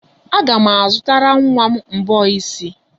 Aga m azụtara nwa m mbọ isi.